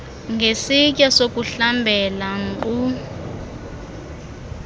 ngesitya sokuhlambela nkqu